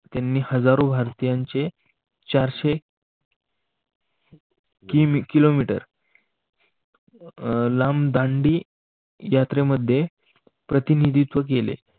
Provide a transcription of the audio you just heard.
त्यांनी हजारो भारतीयांचे चारशे किमी किलोमीटर लांब दांडी यात्रेमध्ये प्रतिनिधित्व केले.